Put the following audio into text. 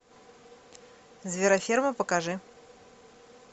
звероферма покажи